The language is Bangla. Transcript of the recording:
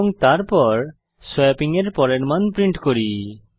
এবং তারপর সোয়াপিং এর পরের মান প্রিন্ট করি